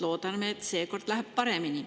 Loodame, et seekord läheb paremini.